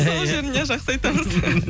сол жерін иә жақсы айтамыз